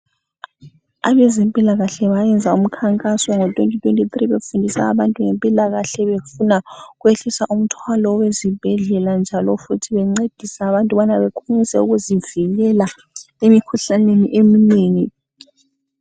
Abezempila kahle bayenza umkhankaso ngo 2023 befundisa abantu ngempila kahle befuna ukwehlisa umthwalo wezibhedlela njalo futhi bencedisa abantu ukubana bakwanise ukuzivikela emikhuhlane eminengi